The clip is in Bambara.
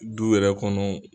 Du yɛrɛ kɔnɔ